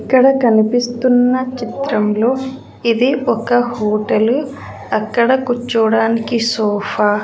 ఇక్కడ కనిపిస్తున్న చిత్రంలో ఇది ఒక హోటల్ అక్కడ కూర్చోవడానికి సోఫా .